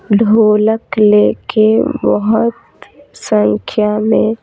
ढोलक लेके बहुत संख्या में --